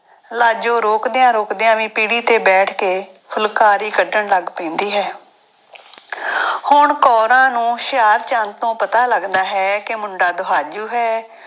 ਲਾਜੋ ਰੋਕਦਿਆਂ ਰੋਕਦਿਆਂ ਵੀ ਪੀੜ੍ਹੀ ਤੇ ਬੈਠ ਕੇ ਫੁਲਕਾਰੀ ਕੱਢਣ ਲੱਗ ਪੈਂਦੀ ਹੈ ਹੁਣ ਕੋਰਾਂ ਨੂੰ ਹੁਸ਼ਿਆਰਚੰਦ ਤੋਂ ਪਤਾ ਲੱਗਦਾ ਹੈ ਕਿ ਮੁੰਡਾ ਦੁਹਾਜੂ ਹੈ।